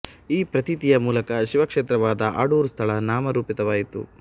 ಈ ಪ್ರತೀತಿಯ ಮೂಲಕ ಶಿವ ಕ್ಷೇತ್ರವಾದ ಅಡೂರು ಸ್ಥಳ ನಾಮ ರೂಪಿತವಾಯಿತು